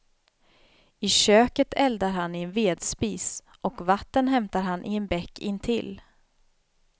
I köket eldar han i en vedspis och vatten hämtar han i en bäck intill.